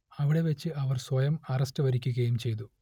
അവിടെ വച്ച് അവർ സ്വയം അറസ്റ്റ് വരിക്കുകയും ചെയ്തു